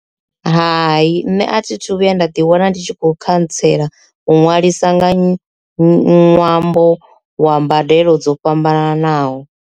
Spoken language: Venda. Hai, nṋe a thi thu vhuya nda ḓi wana ndi tshi kho khantsela u nwalisa nga ṅwambo wa mbadelo dzo fhambananaho.